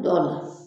Dɔw la